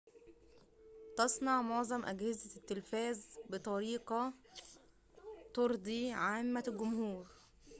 تصنع معظم أجهزة التلفاز بطريقة ترضي عامة الجمهور